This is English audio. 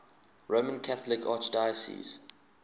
roman catholic archdiocese